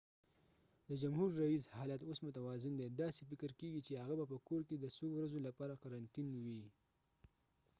د جمهور ریېس حالت اوس متوازن دی داسې فکر کېږی چې هغه به په کور کې د څو ورځو لپاره قرنطین وي